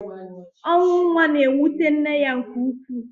ọnwụ nwa na-ewute nne ya nke ukwuu.